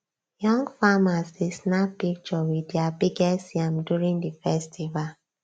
young farmers dey snap picture with their biggest yam during the festival